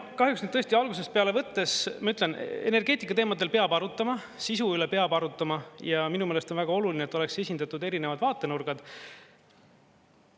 Kahjuks nüüd tõesti, algusest peale võttes, ma ütlen, energeetikateemadel peab arutama, sisu üle peab arutama, ja minu meelest on väga oluline, et oleksid esindatud erinevad vaatenurgad.